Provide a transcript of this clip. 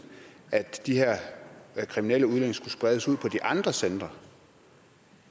at de her kriminelle udlændinge skulle spredes ud på de andre centre